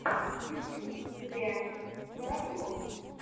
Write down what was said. ютюб леонид воробьев